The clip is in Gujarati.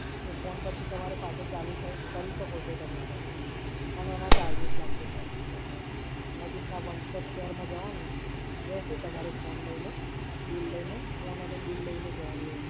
એ Phone પછી તમારે પાછું ચાલુ થઈ, કરી શકો છો તમે Sir પણ એના ચાર્જિસ લાગશે સર. નજીકના One Plus Square માં જવાનું. રહેશે તમારો Phone લઈને, Bill લઈને. Phone અને Bill લઈને જવાનું રહેશે.